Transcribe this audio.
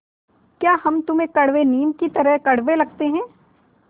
या हम तुम्हें कड़वे नीम की तरह कड़वे लगते हैं